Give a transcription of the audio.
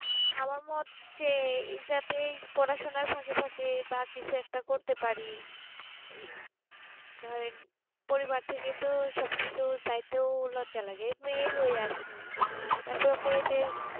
আমার মোট যেই সাকে পড়া সোনা থাকে থাকে বা কিছু একটা করতে পারি এই ধরেন পরিবারে থেকে তো চাইতো ও লজ্জা লাগে মেয়ে হয়ে আর কি তার পর মেয়ে